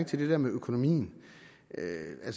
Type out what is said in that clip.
til det der med økonomien